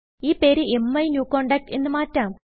ഈ പേര് മൈന്യൂകോണ്ടാക്ട് എന്ന് മാറ്റാം